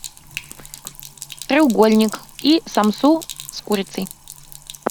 треугольник и самсу с курицей